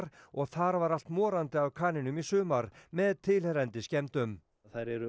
og þar var allt morandi af kanínum í sumar með tilheyrandi skemmdum þær eru